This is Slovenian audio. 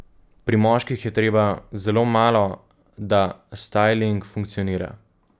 Pri moških je treba zelo malo, da stajling funkcionira.